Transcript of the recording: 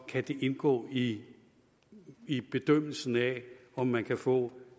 kan det indgå i i bedømmelsen af om man kan få